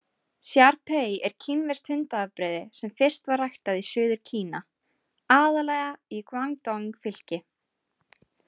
Shar-pei er kínverskt hundaafbrigði sem fyrst var ræktað í Suður-Kína, aðallega í Guangdong-fylki.